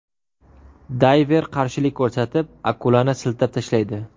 Dayver qarshilik ko‘rsatib, akulani siltab tashlaydi.